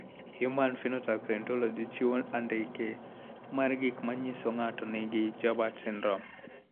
Human Phenotype Ontology chiwo andike mar gik ma nyiso ni ng'ato nigi Joubert syndrome.